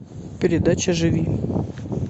передача живи